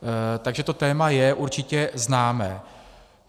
Takže to téma je určitě známé.